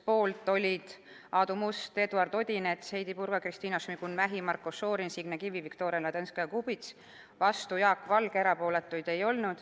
Poolt olid Aadu Must, Eduard Odinets, Heidy Purga, Kristina Šmigun-Vähi, Marko Šorin, Signe Kivi ja Viktoria Ladõnskaja-Kubits, vastu oli Jaak Valge, erapooletuid ei olnud.